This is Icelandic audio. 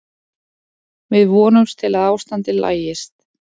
Við vonumst til að ástandið lagist.